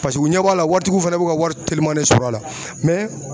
Paseke u ɲɛ b'a la waritigiw fɛnɛ b'u ka wari telima de sɔrɔ a la mɛ